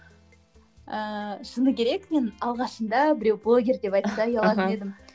ііі шыны керек мен алғашында біреу блогер деп айтса ұялатын едім